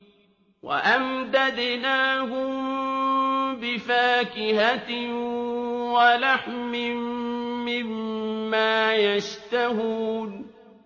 وَأَمْدَدْنَاهُم بِفَاكِهَةٍ وَلَحْمٍ مِّمَّا يَشْتَهُونَ